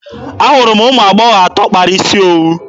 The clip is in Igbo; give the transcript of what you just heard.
Ahụrụ m ụmụ agbọghọ atọ kpara isi owu.